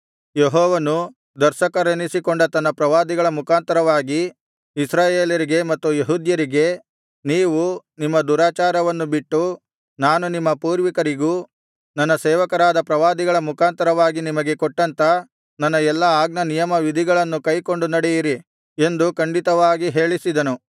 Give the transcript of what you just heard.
ಯೆಹೋವನು ದರ್ಶಕರೆನಿಸಿಕೊಂಡ ತನ್ನ ಪ್ರವಾದಿಗಳ ಮುಖಾಂತರವಾಗಿ ಇಸ್ರಾಯೇಲರಿಗೆ ಮತ್ತು ಯೆಹೂದ್ಯರಿಗೆ ನೀವು ನಿಮ್ಮ ದುರಾಚಾರವನ್ನು ಬಿಟ್ಟು ನಾನು ನಿಮ್ಮ ಪೂರ್ವಿಕರಿಗೂ ನನ್ನ ಸೇವಕರಾದ ಪ್ರವಾದಿಗಳ ಮುಖಾಂತರವಾಗಿ ನಿಮಗೆ ಕೊಟ್ಟಂಥ ನನ್ನ ಎಲ್ಲಾ ಆಜ್ಞಾನಿಯಮವಿಧಿಗಳನ್ನು ಕೈಕೊಂಡು ನಡೆಯಿರಿ ಎಂದು ಖಂಡಿತವಾಗಿ ಹೇಳಿಸಿದನು